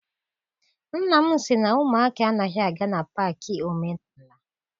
Nna m sị na ụmụaka anaghị aga na paakị omenala.